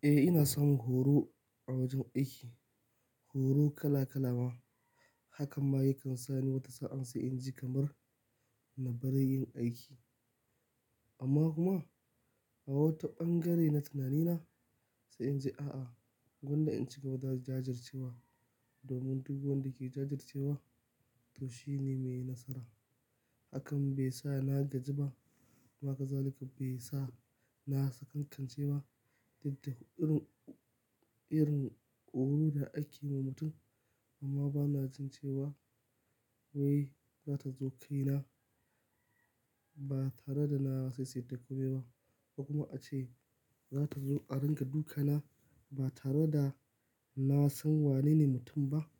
Eh ina son horo a wajen aiki, horo kala kala ma. Hakan ma yakan sani wata sa'an sai in ji kamar na bari yin aiki. Amma kuma a wata ɓangare na tunanina sai in ji a'a, gwanda in ci gaba da jajircewa domin duk wanda ke jajircewa to shine mai nasara. Hakan bai sa na gaji ba kuma haka zalika bai sa na sakatance ba. Diddigirin, irin horo da ake ma mutum amma bana jin cewa wai zata zo kai na ba tare da na saisaita komai ba ko kuma ace zata zo a ringa duka na ba tare da na san wanene mutum ba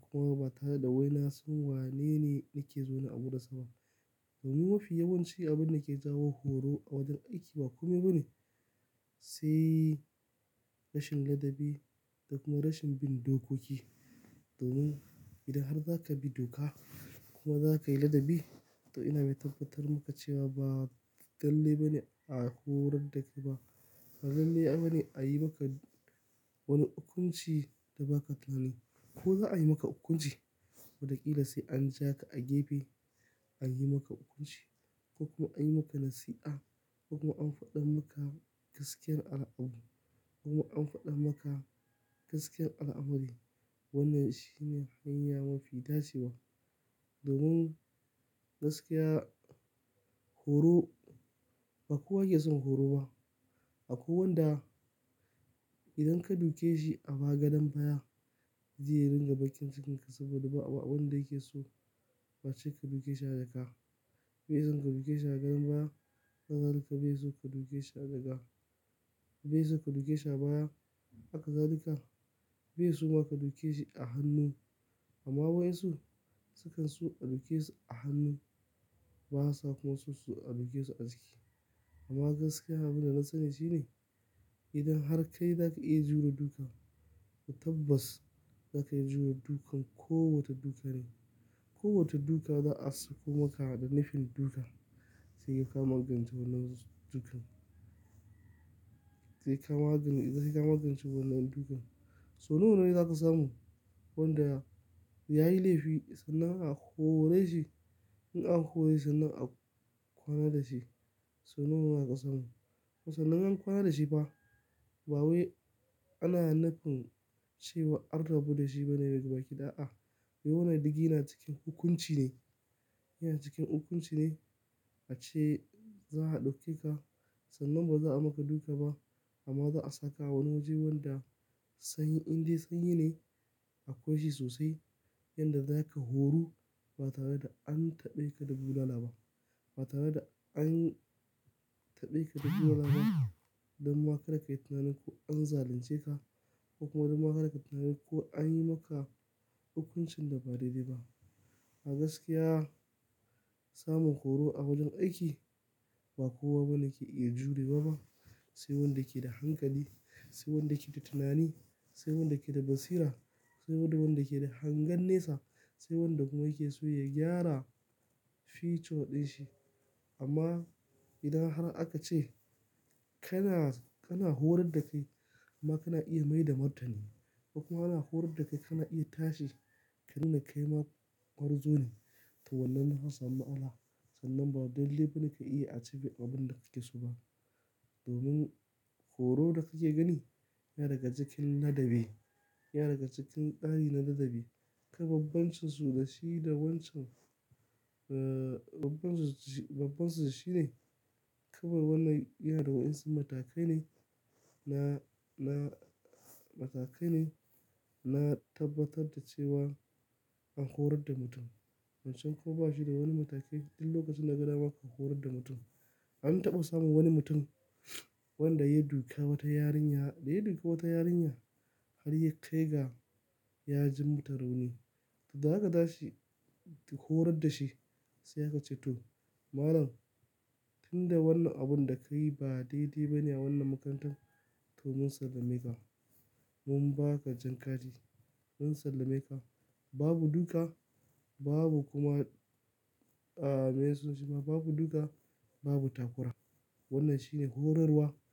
kuma ba tare da wai na san wanene nake zo na buɗe sababba. Domin mafi yawancin abun da ke jawo horo a wajen aiki ba kome bane sai rashin ladabi da kuma rashin bin dokoki. Domin idan har zaka bi doka kuma zaka yi ladabi to ina mai tabbatar maka cewa ba dallai bane a horar da kai ba, ba lallai bane a yi maka wani hukunci da ba ka tunani. Ko za a yi maka hukunci? Watakila sai an ja ka a gefe an yi maka hukunci ko kuma an yi maka nasiha kuma an faɗa maka gaskiyar al'au. Kuma an faɗa maka gaskiyar al'amari. Wannan shine hanya mafi tashewa. Domin gaskiya horo ba kowa yake son horo ba. Akwai wanda idan ka duke shi a bagaden baya zai ringa bakin cikinka saboda ba wanda yake so ka duke shi a jaka. Bai son ka duke shi a gan baya haka zalika bai so ka duke shi a jaka. Bai so ka duke shi a baya haka zalika bai so ma ka duke shi a hannu. Amma wai su, su kan so a duke su a hannu ba sa kuma so su a duke su a jiki. Amma gaskiya abun da na nassani shine idan har kai zaka iya jure duka tabbas zaka iya jure dukan kowace duka ne, kowace duka za'a sauko maka da nufin duka sai ka magance wannan dukan. Sai ka magance, sai ka magance wannan dukan. So nawa ne zaka samu wanda yayi laifi sannan a hore shi? In an horo shi sannan a kwana da shi. So nawa aka samu? Sannan an kwana da shi ba. Ba wai ana nufin cewa arda buɗe shi bane gaba kiɗa'a. Yawan na ɗigi yana cikin hukunci ne, yana cikin hukunci ne. Ace za'a ɗauke ka sannan ba za'a maka duka ba amma za'a saka wani waje wanda sanyi, indai sanyi ne a kunshe sosai yanda zaka horo ba tare da an taɓe ka da bulala ba. Ba tare da an taɓe ka da bulala ba don ma kar ka yi tunani ko an zalunce ka ko kuma don ma kar ka tunani ko an yi maka hukuncin da ba daidai ba. A gaskiya samun horo a wajen aiki ba kowa bane yake iya jurewa ba. Sai wanda yake da hankali, sai wanda yake da tunani, sai wanda yake da basira, sai wanda kuma yake so ya gyara future ɗin shi. Amma idan har aka ce kana, kana horar da kai amma kana iya maida martani ko kuma ana horar da kai kana iya tashi ka nuna kai ma gwarzo ne to wannan zaa samu matsala sannan ba lallai bane ka iya achieving abin da kake so ba. Domin horo da kake gani yana daga cikin ladabi, yana daga cikin ɗani na ladabi. Ka babbanci su da shi da wancan, babbanci shine ka bar wannan yana da waɗansu matakai ne na, na matakai ne na tabbatar da cewa an horar da mutum. Wancan kuwa ba shi da wani mataki ɗin lokacin da gaba ma ka horar da mutum. An taɓa samun wani mutum wanda ya duka wata yarinya, da ya duka wata yarinya har ya kai ga ya ji mata rauni. To zaka dashi ki horar da shi sai ka ce to malam tunda wannan abun da ka yi ba daidai bane a wannan makarantar to mun sallameka. Mun ba ka jan kati, mun sallameka. Babu duka, babu kuma, me sunan shi ma. Babu duka, babu takura. Wannan shine horarwa.